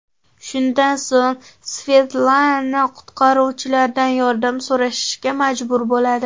Shundan so‘ng Svetlana qutqaruvchilardan yordam so‘rashga majbur bo‘ladi.